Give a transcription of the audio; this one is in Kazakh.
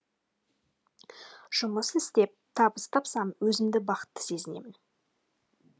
жұмыс істеп табыс тапсам өзімді бақытты сезінемін